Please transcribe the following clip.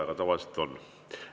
Aga tavaliselt on.